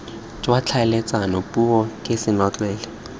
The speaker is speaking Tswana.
jwa tlhaeletsano puo ke senotlele